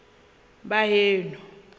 baheno